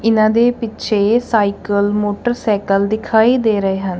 ਇਹਨਾਂ ਦੇ ਪਿੱਛੇ ਸਾਈਕਲ ਮੋਟਰਸਾਈਕਲ ਦਿਖਾਈ ਦੇ ਰਹੇ ਹਨ।